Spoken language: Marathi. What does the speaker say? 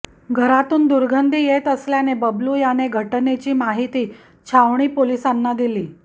घरातून दुर्गंधी येत असल्याने बबलू याने घटनेची माहिती छावणी पोलिसांना दिली